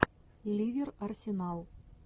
ливер арсенал